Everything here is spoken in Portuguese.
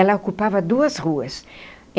Ela ocupava duas ruas.